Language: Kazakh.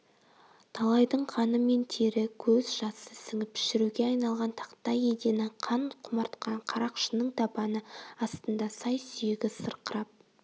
талайдың қаны мен тері көз жасы сіңіп шіруге айналған тақтай едені қан құмартқан қарақшының табаны астында сай-сүйегі сырқырап